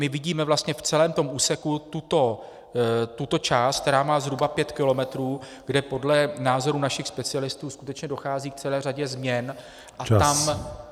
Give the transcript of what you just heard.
My vidíme vlastně v celém tom úseku tuto část, která má zhruba pět kilometrů, kde podle názoru našich specialistů skutečně dochází k celé řadě změn .